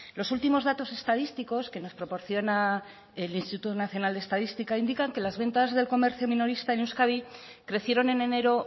los últimos datos estadísticos que nos proporciona el instituto nacional de estadística indican que las ventas del comercio minorista en euskadi crecieron en enero